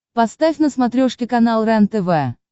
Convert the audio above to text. поставь на смотрешке канал рентв